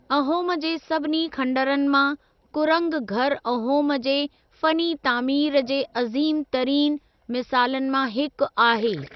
अहोम जे सभिनी खंडरनि मां कुरंग घरु अहोम जे फ़नी तामीर जे अज़ीमु तरीन मिसालनि मां हिकु आहे।